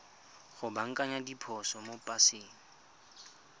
go baakanya diphoso mo paseng